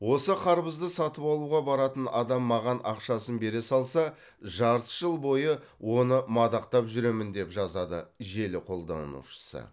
осы қарбызды сатып алуға баратын адам маған ақшасын бере салса жарты жыл бойы оны мадақтап жүремін деп жазады желі қолданушысы